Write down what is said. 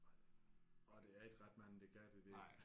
Nej og der er ikke ret mange der kan det der